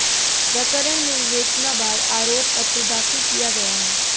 प्रकरण में विवेचना बाद आरोप पत्र दाखिल किया गया है